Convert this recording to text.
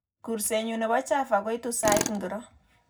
Gursenyu nebo chava koitu sait ngiro